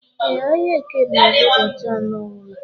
E, ahịa eke na azụ ụbọchị anọ ọbula